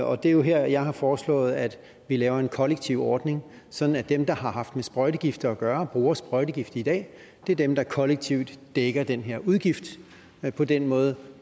og det er jo her jeg har foreslået at vi laver en kollektiv ordning sådan at dem der har haft med sprøjtegifte at gøre og bruger sprøjtegifte i dag er dem der kollektivt dækker den her udgift på den måde